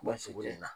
sugu in na